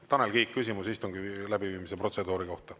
Tanel Kiik, küsimus istungi läbiviimise protseduuri kohta.